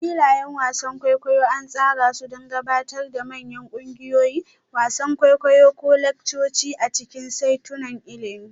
Filayen wasan kwaikwayo an tsara su don gabatar da manyan ƙungiyoyi, wasan kwaikwayo ko laccoci a cikin saitunan ilimi.